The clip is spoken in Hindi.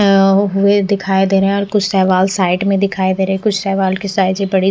वे दिखाई दे रहे हैं और कुछ शैवाल साइड में दिखाई दे रहे हैं कुछ शैवाल की साइजे बड़ी --